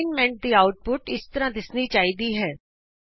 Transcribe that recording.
ਸਾਈਨਮੈਂਟ ਦੀ ਆਉਟਪੁਟ ਇਸ ਤਰ੍ਹਾਂ ਦਿੱਸਣੀ ਚਾਹੀਦੀ ਹੈ